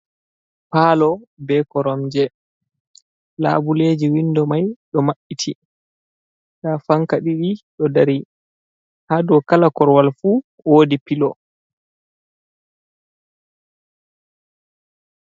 Paalo be koromje, labuleeji winndo may ɗo maɓɓiti, ndaa fanka ɗiɗi ɗo dari, haa dow kala korowal fu, woodi pilo.